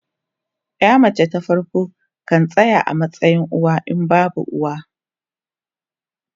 Yar mace ta farko kan tsaya a matsayin uwa in babu uwa.